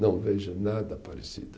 Não vejo nada parecido.